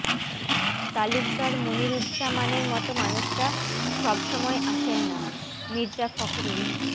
তালুকদার মনিরুজ্জামানের মতো মানুষেরা সব সময় আসেন নাঃ মির্জা ফখরুল